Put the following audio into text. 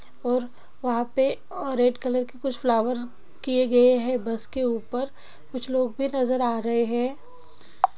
और वहां पे रेड कलर के कुछ फ्लावर किए गए हैं बस के ऊपर कुछ लोग भी नजर आ रहे हैं।